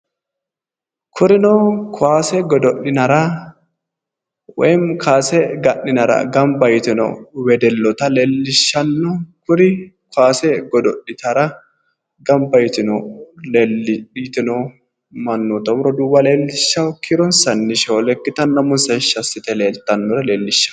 Kurino kaase godo'linara woyi kaase ga'ninara gamba yitino wedelloota leellishshanno. Kuri kaase godo'litara gamba yitino mannota woyi roduuwa leellishshawo. Kiironsanni shoole ikkitanna umonsa heeshshi assite leellishshanno.